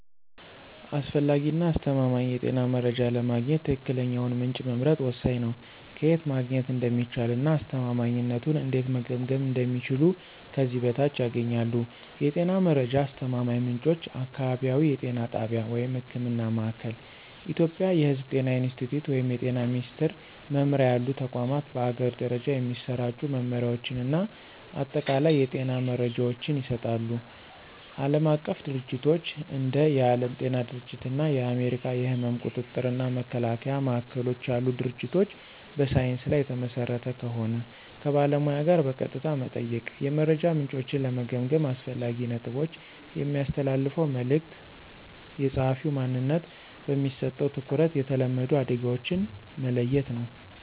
አስፈላጊ እና አስተማማኝ የጤና መረጃ ለማግኘት ትክክለኛውን ምንጭ መምረጥ ወሳኝ ነው። ከየት ማግኘት እንደሚቻል እና አስተማማኝነቱን እንዴት መገምገም እንደሚችሉ ከዚህ በታች ያገኛሉ። የጤና መረጃ አስተማማኝ ምንጮች · አካባቢያዊ የጤና ጣቢያ (ህክምና ማእከል። ኢትዮጵያ የሕዝብ ጤና ኢንስቲትዩት ወይም የጤና ሚኒስትር መምሪያ ያሉ ተቋማት በአገር ደረጃ የሚሰራጩ መመሪያዎችን እና አጠቃላይ የጤና መረጃዎችን ይሰጣሉ። ዓለም አቀፍ ድርጅቶች እንደ የዓለም ጤና ድርጅት እና የአሜሪካ የሕመም ቁጥጥር እና መከላከያ ማዕከሎች ያሉ ድርጅቶች በሳይንስ ላይ የተመሰረተ ከሆን። ከባለሙያ ጋር በቀጥታ መጠየቅ። የመረጃ ምንጮችን ለመገምገም አስፈላጊ ነጥቦች። የሚያስተላልፈው መልዕክት፣ የጸሐፊው ማንነት፣ በሚሰጠው ትኩረት፣ የተለመዱ አደጋዎችን መለየት ነው።